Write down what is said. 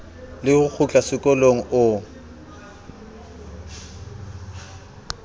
le ho kgutla sekolong o